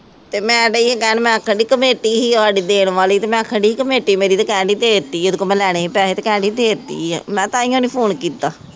ਤੇ ਮੈਂ ਦੇਈਂ ਕਹਿਣ ਮੈਂ ਕਿਹਾ ਖਨੀ ਕਮੇਟੀ ਸੀ ਸਾਡੀ ਦੇਣ ਵਾਲੀ ਅਤੇ ਮੈ ਕਿਹਾ ਖੜੀ ਕਮੇਟੀ ਮੇਰੀ ਤੇ ਕਹਿਣ ਦੇਈ ਦੇ ਦਿੱਤੀ ਹੈ, ਇਹਦੇ ਕੋਲੋਂ ਮੈਂ ਲੈਣੇ ਸੀ ਪੈਸੇ ਅਤੇ ਕਹਿਣ ਦੇਈ ਦੇ ਦਿੱਤੀ ਹੈ, ਮੈਂ ਤਾਹੀਉਂ ਨਹੀਂ ਫੋਨ ਕੀਤਾ।